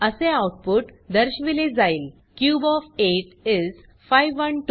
असे आउटपुट दर्शविले जाईल क्यूब ओएफ 8 इस 512